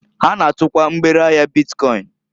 Ha na-atukwa mgbere ahia bitkọịn.